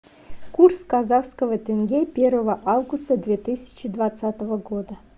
курс казахского тенге первого августа две тысячи двадцатого года